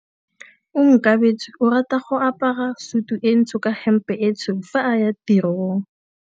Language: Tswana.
Onkabetse o rata go apara sutu e ntsho ka hempe e tshweu fa a ya tirong.